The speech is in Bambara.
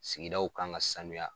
Sigidaw kan ka sanuya